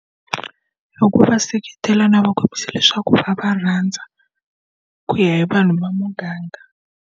Hi ku va seketela no va kombisa leswaku va va rhandza ku ya hi vanhu va muganga.